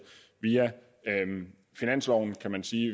via finansloven kan man sige